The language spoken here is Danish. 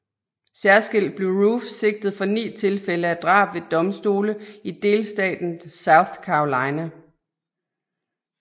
Særskilt blev Roof sigtet for ni tilfælde af drab ved domstole i delstaten South Carolina